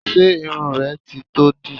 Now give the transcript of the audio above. Ṣé irun rẹ ti tó dì?